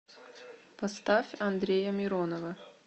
поставь андрея миронова